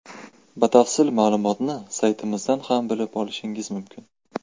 Batafsil ma’lumotni saytimizdan ham bilib olishingiz mumkin .